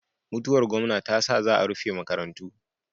Mutuwar gomna tasa za a rufe maka rantu